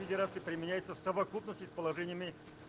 федерации применяется в совокупности с положениями